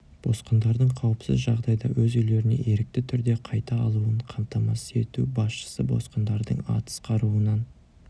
босқындардың қауіпсіз жағдайда өз үйлеріне ерікті түрде қайта алуын қамтамасыз ету басшысы босқындардың атыс қаруынан